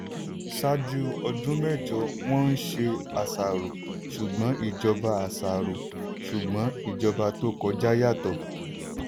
ṣáájú ọdún mẹ́jọ wọ́n ń ṣe àṣàrò ṣùgbọ́n ìjọba àṣàrò ṣùgbọ́n ìjọba tó kọjá yàtọ̀.